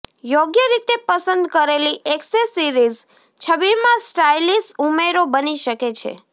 યોગ્ય રીતે પસંદ કરેલી એક્સેસરીઝ છબીમાં સ્ટાઇલિશ ઉમેરો બની શકે છે